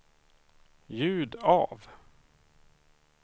ljud av